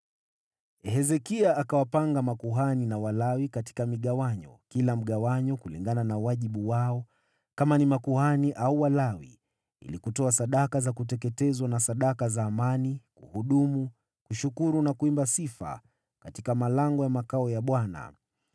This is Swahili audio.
Hezekia akawapanga makuhani na Walawi katika migawanyo, kila mgawanyo kulingana na wajibu wao, kama ni makuhani au Walawi, ili kutoa sadaka za kuteketezwa na sadaka za amani, kuhudumu, kushukuru na kuimba sifa katika malango ya makao ya Bwana .